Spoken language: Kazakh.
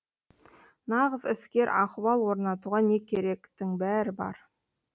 нағыз іскер ахуал орнатуға не керектің бәрі бар